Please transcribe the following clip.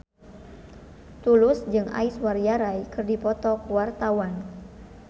Tulus jeung Aishwarya Rai keur dipoto ku wartawan